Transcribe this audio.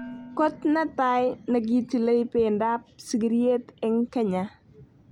Kot netai nekitilei pendo ap sigiryet eng Kenya